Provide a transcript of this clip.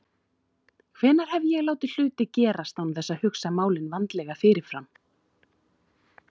Hvenær hef ég látið hluti gerast án þess að hugsa málin vandlega fyrirfram?